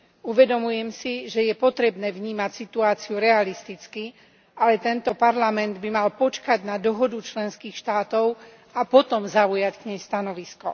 Uvedomujem si, že je potrebné vnímať situáciu realisticky, ale tento Parlament by mal počkať na dohodu členských štátov a potom zaujať k nej stanovisko.